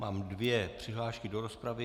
Mám dvě přihlášky do rozpravy.